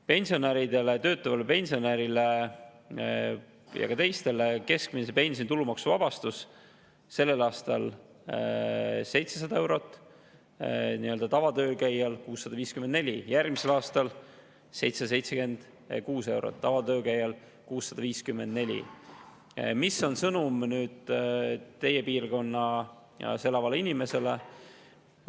Pensionäridele, töötavale pensionärile ja ka teistele on keskmise pensioni tulumaksuvabastus sellel aastal 700 eurot, nii-öelda tavatöölkäijale on 654, järgmisel aastal 776 eurot ja tavatöölkäijale 654. Mis on sõnum teie piirkonnas elavale inimesele?